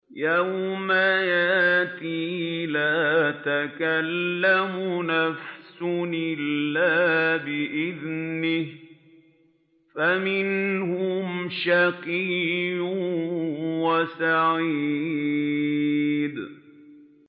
يَوْمَ يَأْتِ لَا تَكَلَّمُ نَفْسٌ إِلَّا بِإِذْنِهِ ۚ فَمِنْهُمْ شَقِيٌّ وَسَعِيدٌ